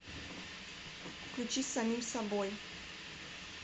включи с самим собой